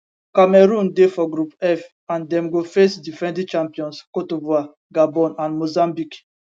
cameroon dey for group f and dem go face defending champions cte divoire gabon and mozambique